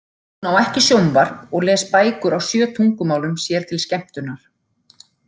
Hún á ekki sjónvarp og les bækur á sjö tungumálum sér til skemmtunar.